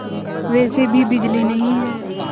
वैसे भी बिजली नहीं है